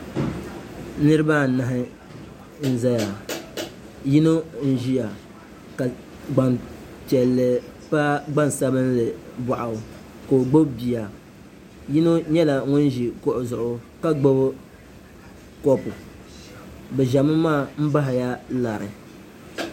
niriba anahi n-zaya yino n-ʒia ka gban'piɛlli pa gban'sabinlli bɔɣu ka o gbubi bia yino nyɛla ŋun ʒi kuɣu zuɣu ka gbubi kɔpu bɛ ʒemi maa m-bahila lari